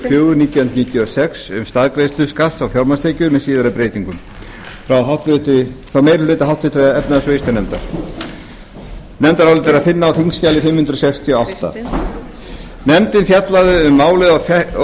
fjögur nítján hundruð níutíu og sex um staðgreiðslu skatts á fjármagnstekjur með síðari breytingum nefndarálitið er að finna á þingskjali fimm hundruð sextíu og átta nefndin fjallaði um málið